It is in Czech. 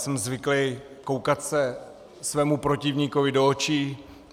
Jsem zvyklý koukat se svému protivníkovi do očí.